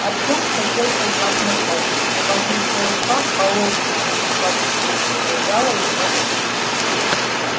артем хотел позвать на помощь но могучая рука холодная как у трупа зажала ему рот